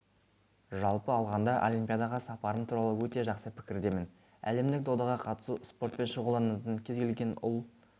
жалпы алғанда олимпиадаға сапарым туралы өте жақсы пікірдемін әлемдік додаға қатысу спортпен шұғылданатын кез келген ұл